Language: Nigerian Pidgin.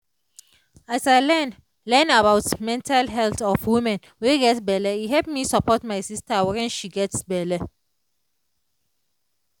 as i learn learn about mental health of woman wey get belle e help me support my sister wen she get belle